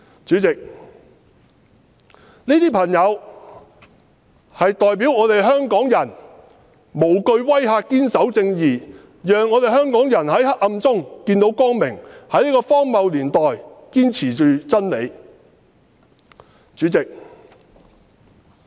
主席，這些朋友代表香港人無懼威嚇堅守正義的精神，讓香港人在黑暗中見到光明，在這個荒謬的年代，堅持真理。